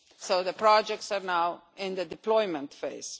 So the projects are now in the deployment phase.